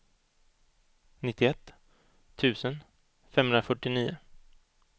nittioett tusen femhundrafyrtionio